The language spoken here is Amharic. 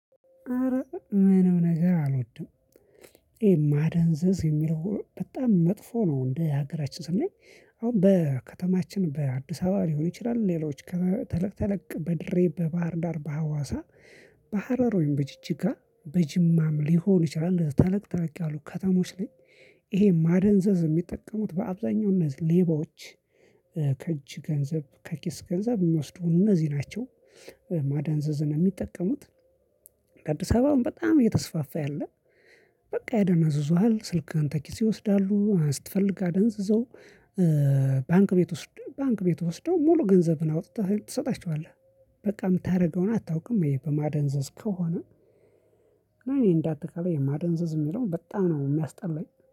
አረ ምንም ነገር አልወድም ይሄ ማደንዘዝ የሚለው በጣም መጥፎ ነው። እንዴ ሀገራችን ስናይ አሁን በከተማችን በአዲስ አበባ ሊሆን ይችላል። ሌሎች ከተለቅ ተለቅ በድሬ በባህር ዳር በሀዋሳ በሀረር ወይም በጅጅጋ በጅማም ሊሆን ይችላል ተለቅ ተለቅ ያሉ ከተሞች ላይ። ይሄ ማደንዘዝ የሚጠቀሙት በአብዛኛው እነዚህ ሌባዎች። ከእጅ ገንዘብ ከኪስ ገንዘብ የሚወስዱ እነዚህ ናቸው። ማደንዘዝን የሚጠቀሙት። አዲስ አበባም በጣም እየተስፋፋ ያለ። በቃ ያደነዝዙሀል ስልክህን ተኪስህ ይወስዳሉ ስትፈልግ አደንዝዘው። ባንክ ቤት ወስደው ባንክ ቤት ወስደው ሙሉ ገንዘብን አውጥተህ ትሰጣቸዋለህ። በቃ ምታደርገውን አታውቅም ይሄ በማደንዘዝ ከሆነ። እኔ እንዳጠቃላይ የማደንዘዝ የሚለው በጣም ነው የሚያስጠላኝ